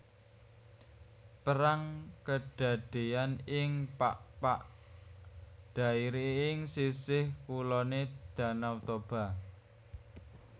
Perang kedadéyan ing Pakpak Dairi ing sisih kuloné Dhanau Toba